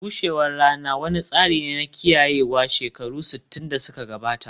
bushewar rana wani tsari ne na kiyayewa shekaru sittin da suka gabata